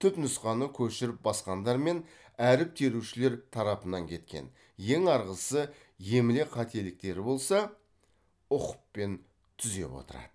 түпнұсқаны көшіріп басқандар мен әріп терушілер тарапынан кеткен ең арғысы емле қателіктері болса ұқыппен түзеп отырады